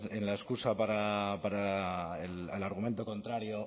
la excusa para el argumento contrario